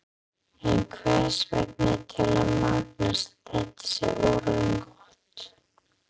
En hvers vegna telur Magnús að þetta sé orðið gott?